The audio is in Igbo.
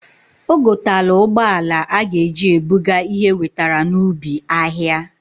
O gotalu ụgbọala a g'eji ebuga ihe ewetara n'ubi ahịa.